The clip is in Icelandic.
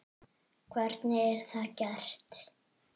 Hvernig er það gert?